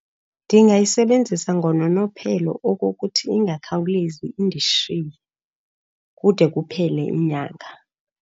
Ndingayisebenzisa ngononophelo okokuthi ingakhawulezi indishiye kude kuphele inyanga.